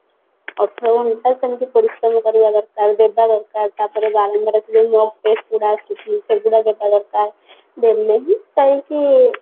ଅଠର ଘଣ୍ଟା ସେମିତି ପରିଶ୍ରମ କରିବା ଦରକାର ଦେବା ଦରକାର ତାପରେ mock test ଗୁଡା ଆସୁଛି ସେଗୁଡା ଦେବା ଦରକାର ଦେଲେ ହିଁ ଯାଇକି